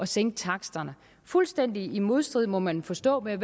sænke taksterne fuldstændig i modstrid med må man forstå hvad